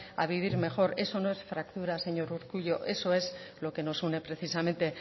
a vivir mejor eso no es fractura señor urkullu eso es lo que nos une precisamente